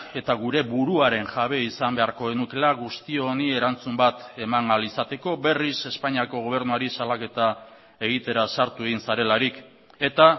eta gure buruaren jabe izan beharko genukeela guzti honi erantzun bat eman ahal izateko berriz espainiako gobernuari salaketa egitera sartu egin zarelarik eta